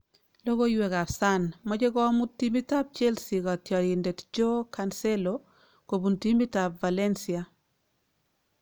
Logoiwek ab Sun; mache komuut timit ab Chelesea katyarindet Jaoe Cancelo kobun timit ab Valencia